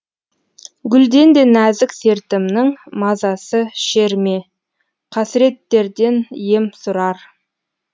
гүлден де нәзік сертімнің мазасы шер ме қасіреттерден ем сұрар